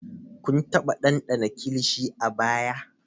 Kun taba dandana kilishi a baya?